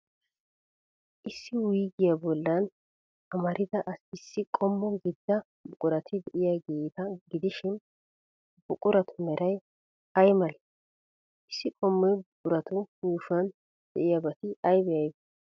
Issi wuyigiyaa bollan amarida Issi qommo gidida buqurati de'iyaageeta gidishin, ha buquratu meray ay malee? Issi qommoy buquratu yuushuwan de'iyaabati aybee aybee?